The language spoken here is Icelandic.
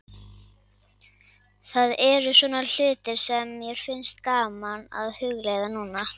Það eru svona hlutir sem mér finnst gaman að hugleiða núna.